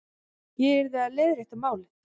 Ég yrði að leiðrétta málið.